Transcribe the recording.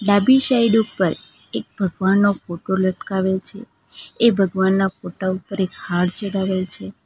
Dabhi side ઉપર એક ભગવાનનો ફોટો લટકાવે છે એ ભગવાનના ફોટા ઉપર એક હાર ચઢાવેલ છે.